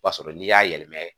O b'a sɔrɔ n'i y'a yɛlɛma